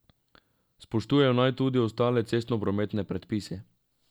Spoštujejo naj tudi ostale cestnoprometne predpise.